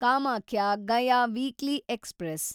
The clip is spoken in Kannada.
Kamakhya Gaya weekly express